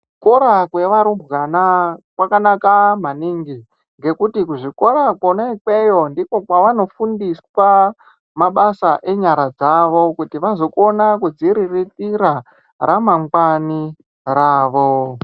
kuzvikora kwevarumbwana kwakanaka maningi ngekuti kuzvikora kwona ikweyo ndiko kwavanofundiswa mabasa enyara dzavo kuti vazokona kudzuriritira ramangwani ravo .